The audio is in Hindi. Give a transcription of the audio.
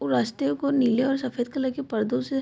वो रास्ते को नीले और सफ़ेद कलर के परदों से --